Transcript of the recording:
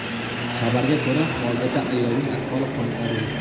Xabarga ko‘ra, hozirda ayolning ahvoli qoniqarli.